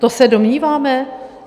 To se domníváme?